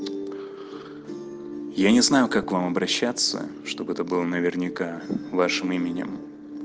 я не знаю как вам обращаться чтобы это было наверняка вашим именем